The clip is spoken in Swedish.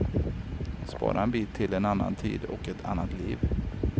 Spara en bit till en annan tid och ett annat liv.